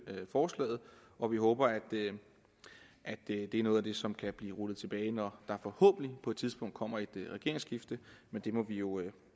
forslaget og vi håber at det er noget af det som kan blive rullet tilbage når der forhåbentlig på et tidspunkt kommer et regeringsskifte men det må vi jo